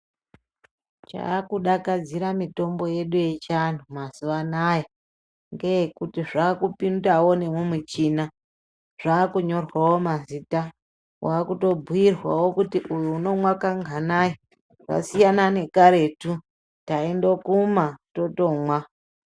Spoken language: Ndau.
Chakudakadzira mitombo yedu yechianhu mazuwa anaya ngeekuti yakupindawo mumuchina. Zvakunyorwawo mazita, wakutobhuirwawo kuti uyu unomwa kanganai. Wasiyana nekaretu taindokuma totomwa.